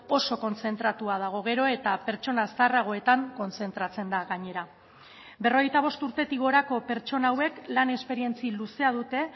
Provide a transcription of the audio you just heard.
oso kontzentratua dago gero eta pertsona zaharragoetan kontzentratzen da gainera berrogeita bost urtetik gorako pertsona hauek lan esperientzia luzea dute